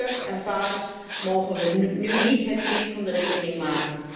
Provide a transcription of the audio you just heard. Moeders en vaders mogen we nu niet het kind van de rekening maken.